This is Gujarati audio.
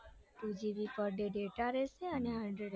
two gb પર ડે data રેસે